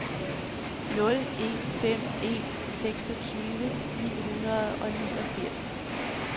nul en fem en seksogtyve ni hundrede og niogfirs